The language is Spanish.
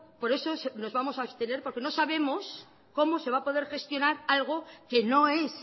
por eso nos vamos a abstener porque no sabemos cómo se va a poder gestionar algo que no es